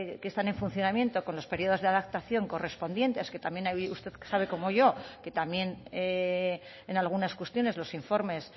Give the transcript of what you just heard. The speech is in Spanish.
que están en funcionamiento con los periodos de adaptación correspondientes que también usted sabe como yo que también en algunas cuestiones los informes